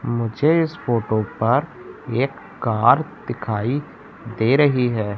मुझे इस फोटो पर एक कार दिखाई दे रही है।